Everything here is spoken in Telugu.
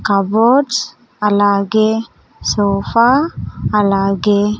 కబోర్డ్స్ అలాగే సోఫా అలాగే--